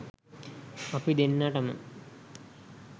අපි දෙන්නටම